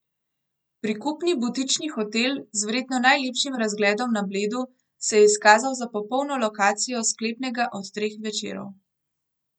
Prikupni butični hotel z verjetno najlepšim razgledom na Bledu se je izkazal za popolno lokacijo sklepnega od treh večerov.